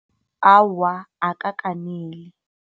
Awa, akakaneli.